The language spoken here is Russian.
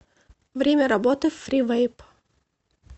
время работы фривэйп